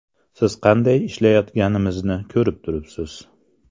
Siz qanday ishlayotganimizni ko‘rib turibsiz.